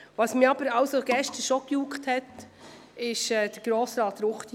Was mich gestern juckte, war das Votum von Grossrat Ruchti.